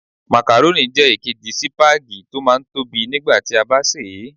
Makarónì jẹ́ èkejì sípágì tó máa ń tóbi nígbà tí a bá sè é.